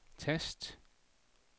tast